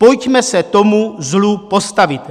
Pojďme se tomu zlu postavit.